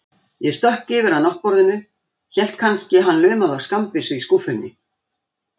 Ég stökk yfir að náttborðinu, hélt kannski að hann lumaði á skammbyssu í skúffunni.